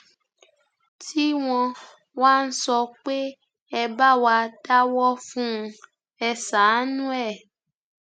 tí wọn wá ń sọ pé ẹ bá wa dáwọ fún un ẹ ṣàánú ẹ